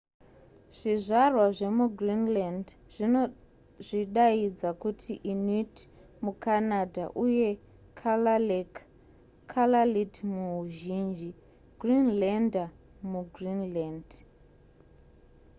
zvizvarwa zvemugreenland zvinozvidaidza kuti inuit mucanada uye kalaalleq kalaallit muhuzhinji greenlander mugreenland